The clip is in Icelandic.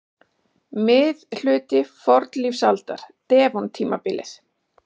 Miðhluti fornlífsaldar- devon-tímabilið.